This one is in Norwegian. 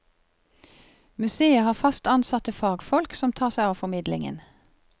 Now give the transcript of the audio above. Museet har fast ansatte fagfolk som tar seg av formidlingen.